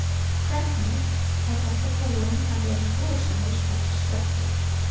Hvernig, er þetta búinn að vera rosalegur sprettur?